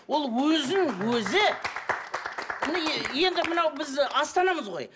ол өзін өзі енді мынау біз астанамыз ғой